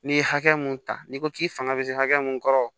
N'i ye hakɛ mun ta n'i ko k'i fanga bɛ se hakɛ min kɔrɔ